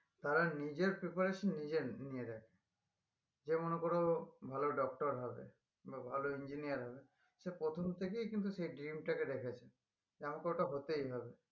তারা নিজের preparation নিজে নিজে নেই যে মনে করো ভালো doctor হবে বা ভালো engineer হবে সে প্রথম থেকেই কিন্তু সে dream টাকে দেখেছে যে আমাকে ওটা হতেই হবে